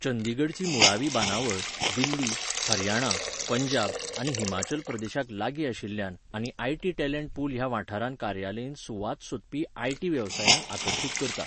चंडीगढची मुळावी बांदावळ, दिल्ली, हरियाणा, पंजाब, आनी हिमाचल प्रदेशाक लागीं आशिल्ल्यान आनी आयटी टॅलेंट पूल ह्या वाठारांत कार्यालयीन सुवात सोदपी आयटी वेवसायांक आकर्शीत करता.